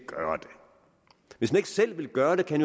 hvis han ikke selv vil gøre det kan